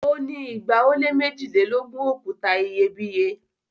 o ni igba o le mejilelogun okuta iyebiye